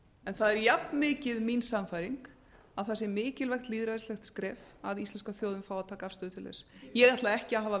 en það er jafnmikið mín sannfæring að það sé mikilvægt lýðræðislegt skref að íslenska þjóðin fái að taka afstöðu til þess ég ætla ekki að hafa